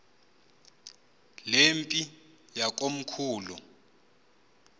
le mpi yakomkhulu